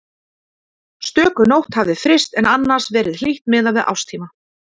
Stöku nótt hafði fryst en annars verið hlýtt miðað við árstíma.